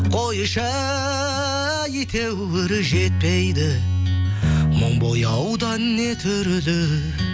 қойшы әйтеуір жетпейді мың бояудан не түрді